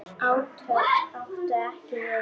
Átök áttu ekki við hann.